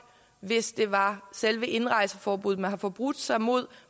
hvis det var selve indrejseforbuddet man havde forbrudt sig imod